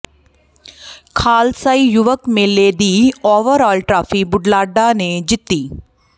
ਖ਼ਾਲਸਈ ਯੁਵਕ ਮੇਲੇ ਦੀ ਓਵਰਆਲ ਟਰਾਫ਼ੀ ਬੁਢਲਾਡਾ ਨੇ ਜਿੱਤੀ